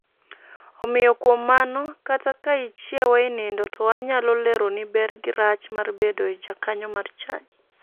Omiyo kuom mano kata ka ichiewa e nindo to anyalo leroni ber gi rach mar bedo e jakanyo mar chadi.